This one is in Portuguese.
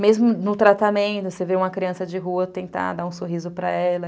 Mesmo no tratamento, você vê uma criança de rua, tentar dar um sorriso para ela.